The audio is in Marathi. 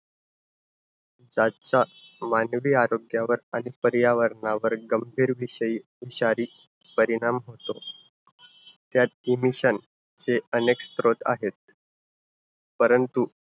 त्यांचा मानवी आरोग्यावर आणि पर्यावरणावर गंभीर विषयी शारीरिक परिणाम होतो. त्यात emission चे अनेक स्रोत आहेत. परंतु